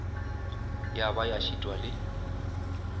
ya ba ya šitwa le